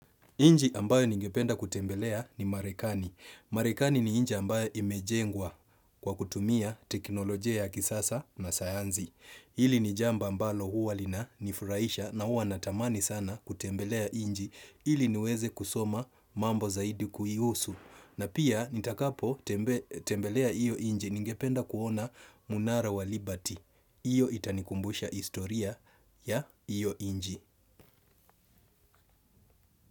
Inji ambayo ningependa kutembelea ni Marekani. Marekani ni inji ambayo imejengwa kwa kutumia teknolojia ya kisasa na sayanzi. Hili ni jambo ambalo huwa linanifuraisha na huwa natamani sana kutembelea inji. Ili niweze kusoma mambo zaidi kuihusu. Na pia nitakapotembelea iyo inji ningependa kuona mnara wa liberty Iyo itanikumbusha istoria ya iyo inji.